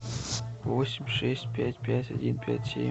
восемь шесть пять пять один пять семь